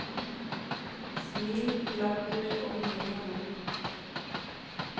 Smil, latter og mye moro.